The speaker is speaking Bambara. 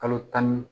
Kalo tan